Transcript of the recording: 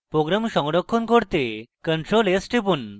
program সংরক্ষণ করতে ctrl + s টিপুন